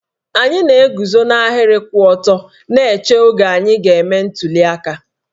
Anyị na-eguzo n'ahịrị kwụ ọtọ na-eche oge anyị ga-eme ntuli aka